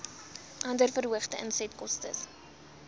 andere verhoogde insetkostes